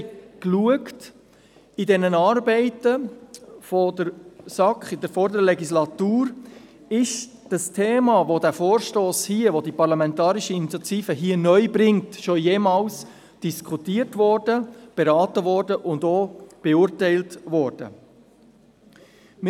– Wir haben in den Arbeiten der SAK der vorangegangenen Legislatur nachgeschaut, ob das neu über diesen Vorstoss, diese Parlamentarischen Initiative, eingebrachte Thema schon jemals diskutiert, beraten und beurteilt worden ist.